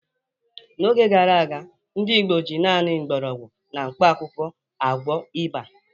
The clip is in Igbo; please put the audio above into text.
N’oge gara aga, ndị Igbo ji naanị mgbọrọgwụ na mkpakwụkwọ agwọ ịba.